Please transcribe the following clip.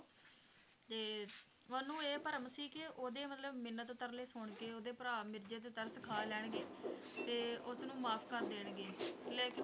ਤੇ ਉਹਨੂੰ ਇਹ ਭਰਮ ਸੀ ਕਿ ਉਹਦੇ ਮਤਲਬ ਮਿੰਨਤ ਤਰਲੇ ਸੁਣ ਕੇ ਉਹਦੇ ਭਰਾ ਮਿਰਜ਼ੇ ਤੇ ਤਰਸ ਖਾ ਲੈਣਗੇ ਤੇ ਉਸ ਨੂੰ ਮੁਆਫ਼ ਕਰ ਦੇਣਗੇ ਲੇਕਿਨ